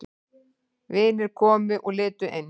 Vinir komu og litu inn.